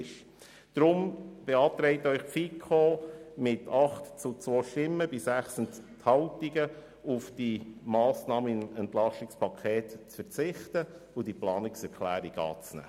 Deshalb beantragt Ihnen die FiKo mit 8 zu 2 Stimmen bei 6 Enthaltungen, auf diese Massnahme im EP zu verzichten und die Planungserklärung anzunehmen.